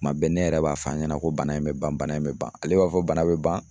Kuma bɛɛ ne yɛrɛ b'a fɔ a ɲɛna ko bana in bɛ ban bana in bɛ ban, ale b'a fɔ bana bɛ ban.